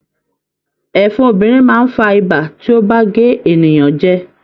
Ẹ̀fọn obìnrin máa n fà ibà tí o ba gé ènìyàn jẹ.